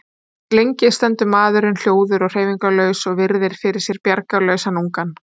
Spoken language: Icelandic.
Lengi stendur maðurinn hljóður og hreyfingarlaus og virðir fyrir sér bjargarlausan ungann.